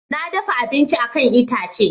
Na dafa abincin a kan itace.